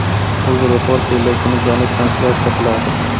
UzReport bellashuvni jonli translyatsiya qiladi.